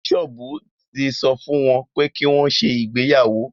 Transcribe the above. Bíṣọ́ọ̀bù ti sọ fún wọn pé kí wọ́n ṣe ìgbéyàwó